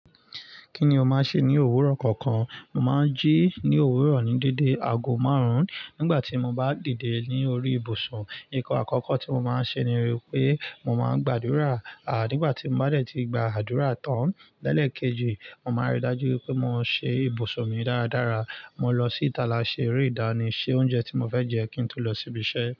Kí ni o máa ń ṣe ní òwúrọ̀ kọ̀ọ̀kan? Mo máa ń jí ní òwúrọ̀ ní dédé aago márùn-ún. Nígbà tí mo bá dìde ní orí ibùsùn, ǹkan àkọ́kọ́ tí mo máa ń ṣe ni wípé mo máa ń gbádura. À nígbà tí mo bá dẹ̀ ti gba àdúrà tán lẹ́lẹ̀ kejì, mo máa rí i dájú pé mo ṣe ibùsùn mi dáradára. Mo lọ sí ìta lo ṣe eré ìdánì, se oúnjẹ tí mo fẹ́ jẹ kí n tún lọ síbi iṣẹ́.